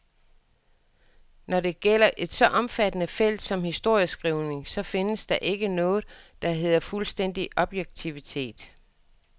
Når det gælder et så omfattende felt som historieskrivningen, så findes der ikke noget, der hedder fuldstændig objektivitet.